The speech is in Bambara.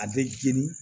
A bɛ jeni